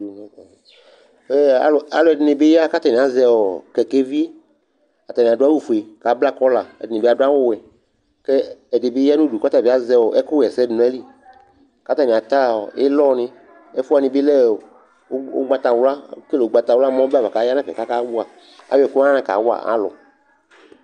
E a alʋɛdɩnɩ bɩ ya kʋ atanɩ azɛ ɔ kɛkɛvi Atanɩ adʋ awʋfue kʋ abla kɔla Ɛdɩnɩ bɩ adʋ awʋwɛ kʋ ɛdɩ bɩ ya nʋ udu kʋ ɔta bɩ azɛ ɛkʋɣa ɛsɛ dʋ nʋ ayili kʋ atanɩ ata ɔ ɩlɔnɩ Ɛfʋ wanɩ bɩ lɛ ɔ ʋgb ʋgbatawla ekele ʋgbatawla mʋ ɔbɛ ava kʋ aya nʋ ɛfɛ kʋ akawa ayʋ ɛkʋ wanɩ kawa alʋ